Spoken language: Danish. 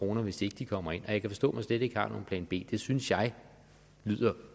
hvis ikke de kommer ind og jeg kan forstå at man slet ikke har nogen plan b det synes jeg lyder